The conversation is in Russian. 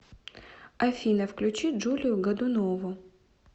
афина включи джулию годунову